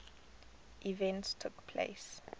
events took place